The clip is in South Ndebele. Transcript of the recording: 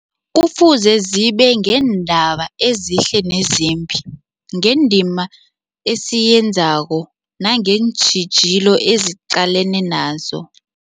Kufuze zibike ngeendaba ezihle nezimbi, ngendima esiyenzako nangeentjhijilo esiqalene nazo.